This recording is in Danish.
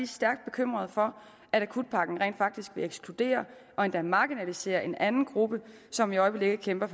stærkt bekymrede for at akutpakken rent faktisk vil ekskludere og endda marginalisere en anden gruppe som i øjeblikket kæmper